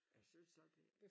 Jeg synes også det